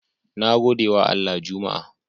Nagodewa Allah juma'a